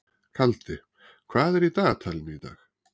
Kaldi, hvað er í dagatalinu í dag?